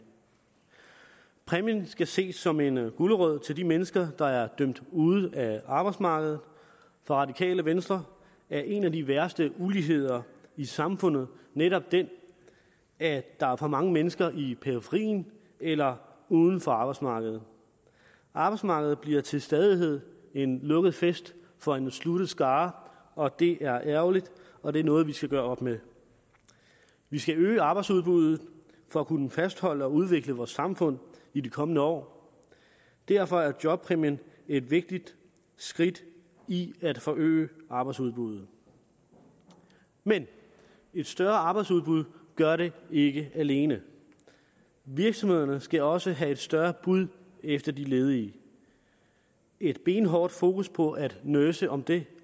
præmien skal ses som en gulerod til de mennesker der er dømt ude af arbejdsmarkedet for radikale venstre er en af de værste uligheder i samfundet netop den at der er for mange mennesker i periferien af eller uden for arbejdsmarkedet arbejdsmarkedet bliver til stadighed en lukket fest for en sluttet skare og det er ærgerligt og det er noget vi skal gøre op med vi skal øge arbejdsudbuddet for at kunne fastholde og udvikle vores samfund i de kommende år derfor er jobpræmien et vigtigt skridt i at forøge arbejdsudbuddet men et større arbejdsudbud gør det ikke alene virksomhederne skal også have et større bud efter de ledige et benhårdt fokus på at nurse om det